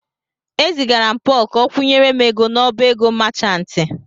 E zigara m Pọl ka o kwụnyere m ego n'ọbá ego machantị.